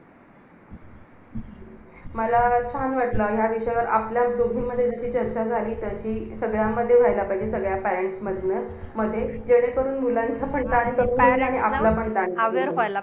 अभ्यास पण बरोबर करतात दोगानला maintain करताना त्याला म्हणतात हुशार पोरं .